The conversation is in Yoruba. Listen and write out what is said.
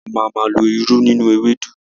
A máa má lo irú nínú Ewédú.